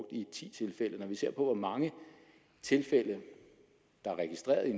i ti tilfælde når vi ser på hvor mange tilfælde der er registreret i